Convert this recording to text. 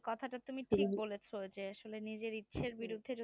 এই কথা টা তুমি ঠিক বলেছো যে নিজের ইচ্ছার বিরুদ্ধে